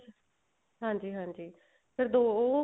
ਹਾਂਜੀ ਹਾਂਜੀ ਫ਼ੇਰ ਦੋ ਉਹ